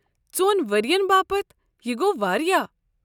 ژۄن ؤرۍ ین باپت، یہٕ گوٚو واریاہ